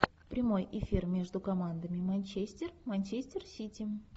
прямой эфир между командами манчестер манчестер сити